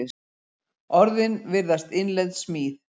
Orðin virðast innlend smíð.